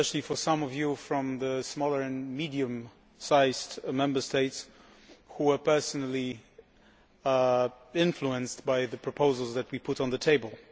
Especially for some of the Members from the smaller and medium sized Member States, who are personally influenced by the proposals that we put on the table.